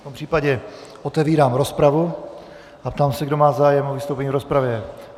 V tom případě otevírám rozpravu a ptám se, kdo má zájem o vystoupení v rozpravě.